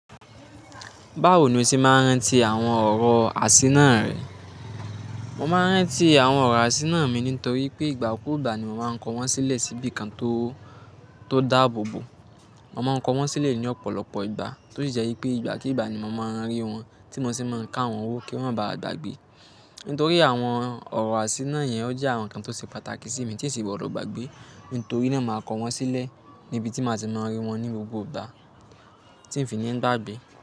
Báwo ni o se máa ń rántí àwọn ọ̀rọ̀ àṣína rẹ? Mo máa ń rántí àwọn ọ̀rọ̀ àṣíránà mi nítorí pé ìgbà kúù ìgbà ni mo máa ń kọ wọ́n sílẹ̀ síbi kan tó, tó dáàbò bò. Mo máa ń kọ wọ́n sílẹ̀ ní ọ̀pọ̀lọpọ̀ ìgbà, tó sì jẹ́ pé ìgbàkígbà ni mo máa ń rí wọn, tí mo sì máa ń ká wọn wò kí n máa ba à gbàgbé. Nítorí àwọn ọ̀rọ̀ àṣínà yẹn ó jẹ́ àwọn nǹkan tó ṣe pàtàkì sí mi tí n sì gbọdọ̀ gbàgbé. Nítorí náà màá kọ wọ́n sílẹ̀ níbi tí màá tì máa rí wọn ní gbogbo ìgbà tí ń fi ni gbàgbé.